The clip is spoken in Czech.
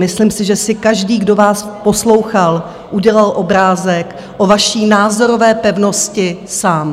Myslím si, že si každý, kdo vás poslouchal, udělal obrázek o vaší názorové pevnosti sám.